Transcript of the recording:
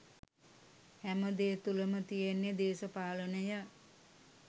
හැම දේ තුළම තියෙන්නේ දේශපාලනය.